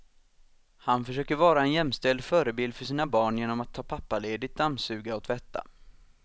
Han försöker vara en jämställd förebild för sina barn genom att ta pappaledigt, dammsuga och tvätta.